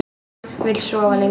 Vill sofa lengur.